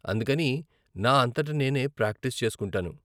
అందుకని నా అంతట నేనే ప్రాక్టీస్ చేసుకుంటాను.